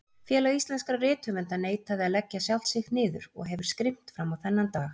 Félag íslenskra rithöfunda neitaði að leggja sjálft sig niður og hefur skrimt frammá þennan dag.